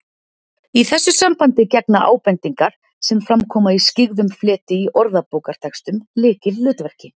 Í þessu sambandi gegna ábendingar, sem fram koma í skyggðum fleti í orðabókartextanum, lykilhlutverki